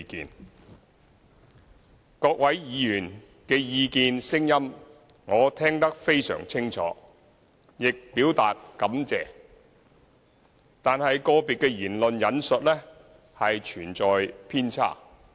對於各位議員的意見和聲音，我聽得非常清楚，亦表達感謝，但個別議員的言論存在偏差。